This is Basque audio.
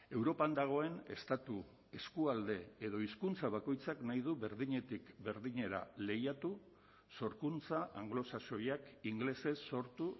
europan dagoen estatu eskualde edo hizkuntza bakoitzak nahi du berdinetik berdinera lehiatu sorkuntza anglosaxoiak ingelesez sortu